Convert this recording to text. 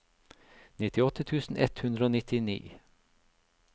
nittiåtte tusen ett hundre og nittini